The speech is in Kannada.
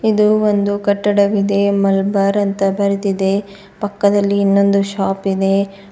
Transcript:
ಇದು ಒಂದು ಕಟ್ಟಡವಿದೆ ಮಲಬಾರ್ ಅಂತ ಬರೆದಿದೆ ಪಕ್ಕದಲ್ಲಿ ಇನ್ನೊಂದು ಶಾಪ್ ಇದೆ.